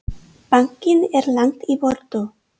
Bankinn er langt í burtu.